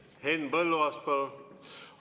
Henn Põlluaas, palun!